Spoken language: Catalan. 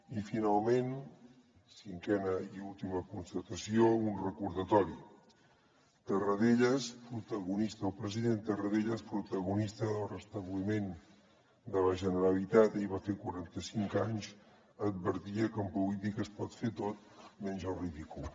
i finalment cinquena i última constatació un recordatori tarradellas protagonista del restabliment de la generalitat ahir en va fer quaranta cinc anys advertia que en política es pot fer tot menys el ridícul